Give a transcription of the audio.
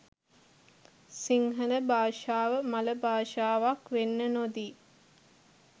සිංහල භාෂාව මළ භාෂාවක් වෙන්න නොදී